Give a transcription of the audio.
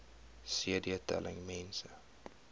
cd telling mense